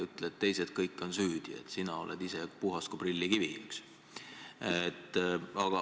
Ütle, et teised kõik on süüdi, sina oled ise puhas kui prillikivi, eks ju.